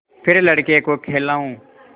फिर लड़के को खेलाऊँ